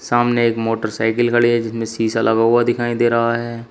सामने एक मोटरसाइकिल खड़ी है जिसमें शीशा लगा हुआ दिखाई दे रहा है।